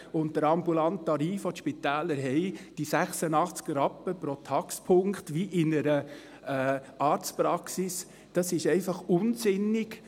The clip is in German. Und der ambulante Tarif, den die Spitäler haben, diese 86 Rappen pro Taxpunkt, wie in einer Arztpraxis, ist einfach unsinnig.